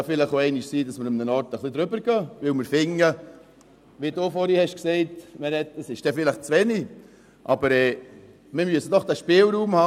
Es kann vielleicht auch einmal sein, dass wir an einem Ort ein bisschen darüber gehen, weil wir finden, dass es dort vielleicht zu wenig ist, wie Meret Schindler vorhin gesagt hat.